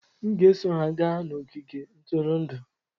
M ga-eso ha gaa n'ogige ntụrụndụ.